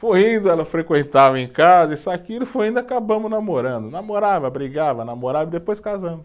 Foi indo, ela frequentava em casa, isso e aquilo, foi indo, acabamos namorando, namorava, brigava, namorava e depois casamos.